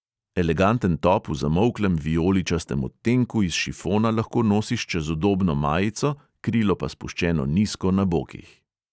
Eleganten top v zamolklem vijoličastem odtenku iz šifona lahko nosiš čez udobno majico, krilo pa spuščeno nizko na bokih.